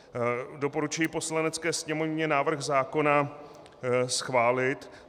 Doporučuji Poslanecké sněmovně návrh zákona schválit.